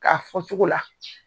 K'a fɔ cogo la